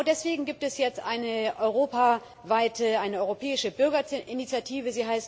Genau deswegen gibt es jetzt eine europaweite, eine europäische Bürgerinitiative.